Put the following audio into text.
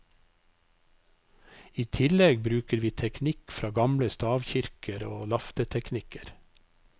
I tillegg bruker vi teknikk fra gamle stavkirker og lafteteknikker.